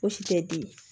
Fosi tɛ di